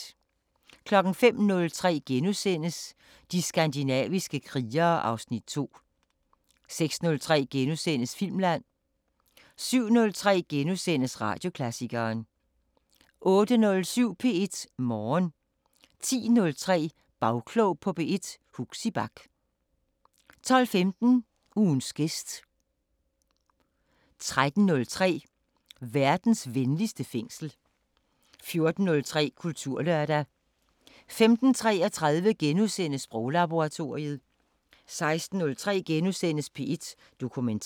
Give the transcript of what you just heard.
05:03: De skandinaviske krigere (Afs. 2)* 06:03: Filmland * 07:03: Radioklassikeren * 08:07: P1 Morgen 10:03: Bagklog på P1: Huxi Bach 12:15: Ugens gæst 13:03: Verdens venligste fængsel 14:03: Kulturlørdag 15:33: Sproglaboratoriet * 16:03: P1 Dokumentar *